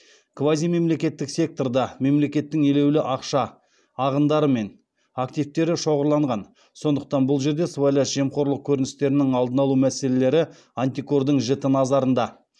квазимемлекеттік секторда мемлекеттің елеулі ақша ағындары мен активтері шоғырланған сондықтан бұл жерде сыбайлас жемқорлық көріністерінің алдын алу мәселелері антикордың жіті назарында